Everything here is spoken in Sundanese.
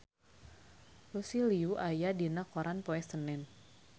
Lucy Liu aya dina koran poe Senen